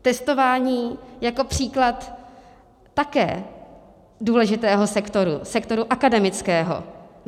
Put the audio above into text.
Testování jako příklad také důležitého sektoru, sektoru akademického.